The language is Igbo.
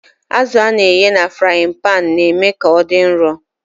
Azụ a na-eghe na frain-panu na-eme ka ọ dị nro.